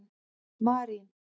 Marín